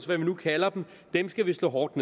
hvad vi nu kalder dem skal vi slå hårdt